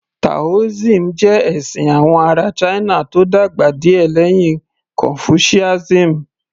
Taoism jẹ́ ẹ̀sìn àwọn ará china tó dàgbà díẹ̀ lẹ́yìn confucianism